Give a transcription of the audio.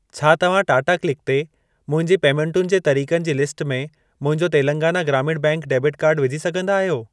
छा तव्हां टाटा क्लिक ते मुंहिंजी पेमेंटुनि जे तरिक़नि जी लिस्ट में मुंहिंजो तेलंगाना ग्रामीण बैंक डेबिट कार्डु विझी सघंदा आहियो?